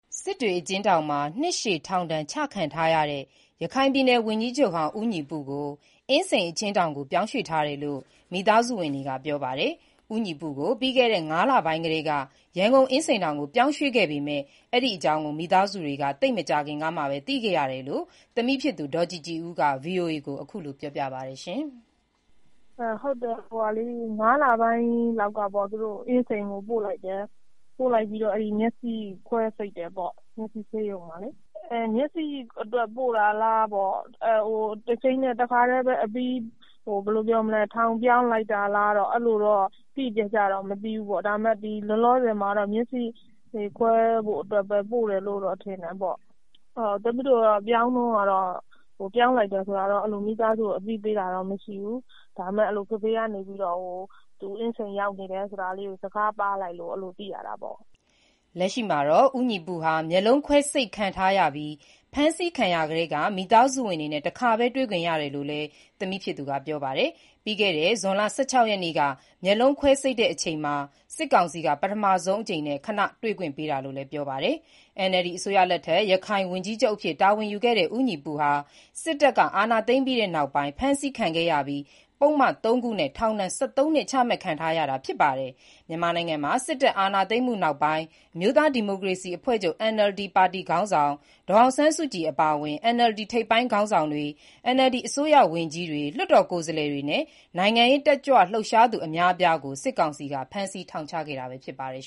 စစ်တွေအကျဥ်းထောင်မှာ နှစ်ရှည်ထောင်ဒဏ် ချခံထားရတဲ့ ရခိုင်ပြည်နယ် ဝန်ကြီးချုပ်ဟောင်း ဦးညီပုကို အင်းစိန် အကျဉ်းထောင်ကို ပြောင်းရွှေ့ထားတယ်လို့ မိသားစုဝင်တွေက ပြောပါတယ်။ ပြီးခဲ့တဲ့ ၅ လပိုင်းကတည်းက ဦးညီပု ကို ရန်ကုန် အင်းစိန်ထောင်ကို ပြောင်းရွှေ့ခဲ့တာဖြစ်ပေမဲ့ မိသားစုတွေ အနေနဲ့ ဒီလိုပြောင်းရွှေ့လိုက်တယ်ဆိုတာကို သိပ်မကြာခင်ကမှ သိခဲ့ရတယ်လို့ သမီးဖြစ်သူ ဒေါ်ကြည်ကြည်ဦးက ဗွီအိုအေကို ပြောပါတယ်။ “၅လပိုင်းလောက်ကတည်းက သူတို့ အင်းစိန်ကို ပို့လိုက်တယ်။ ပို့လိုက်ပြီးတော့ မျက်စိခွဲစိတ်တယ်ပေါ့။ မျက်စိဆေးရုံမှာလေ။ မျက်စိအတွက် ပို့တာလား တခါတည်းအပြီး ထောင်ပြောင်း လိုက်တာလားတော့ တိတိကျကျတော့ မသိဘူး။ ဒါပေမဲ့ မျက်စိခွဲဖို့အတွက် ပို့တယ်လို့ပဲ ထင်တာပေါ့။ ပြောင်းတုန်းကတော့ မိသားစုကို အသိပေးတာလည်း မရှိဘူး။ ဒါပေမဲ့ ဖေဖေက အင်းစိန် ရောက်နေတယ်ဆိုတာ စကားပါးလိုက်လို့ သိရတာပေါ့။” လက်ရှိမှာတော့ ဦးညီပုဟာ မျက်လုံးခွဲစိတ် ခံထားရပြီး ဖမ်းဆီးခံရကတည်းက မိသားစုဝင်တွေနဲ့ တခါပဲ တွေ့ခွင့်ရတယ်လို့လည်း သမီးဖြစ်သူက ပြောပါတယ်။ ပြီးခဲ့တဲ့ ဇွန်လ ၁၆ ရက်နေ့က မျက်လုံး ခွဲစိတ်တဲ့အချိန်မှာ စစ်ကောင်စီက ပထမဆုံးအကြိမ် ခဏတွေ့ခွင့်ပေးတာလို့ ပြောပါတယ်။ NLD အစိုးရလက်ထက် ရခိုင်ဝန်ကြီးချုပ် တာ၀န်ယူခဲ့တဲ့ ဦးညီပုဟာ စစ်တပ်က အာဏာသိမ်းပြီးတဲ့နောက် ဖမ်းဆီးခံခဲ့ရပြီး ပုဒ်မ ၃ ခုနဲ့ ထောင်ဒဏ် ၁၃ နှစ် ချမှတ်ခံထားရတာ ဖြစ်ပါတယ်။ မြန်မာနိုင်ငံမှာ စစ်တပ် အာဏာသိမ်းမှုနောက်ပိုင်း အမျိုးသားဒီမိုကရေစီအဖွဲ့ချုပ် (NLD) ပါတီ ခေါင်းဆောင် ဒေါ်အောင်ဆန်းစုကြည် အပါအ၀င် NLD ထိပ်ပိုင်း ခေါင်းဆောင်တွေ၊ NLD အစိုးရဝန်ကြီးတွေ၊ လွတ်တော် ကိုယ်စားလှယ်တွေနဲ့ နိုင်ငံရေး တက်ကြွလှုပ်ရှားသူ အများအပြားကို စစ်ကောင်စီက ဖမ်းဆီး ထောင်ချခဲ့တာ ဖြစ်ပါတယ်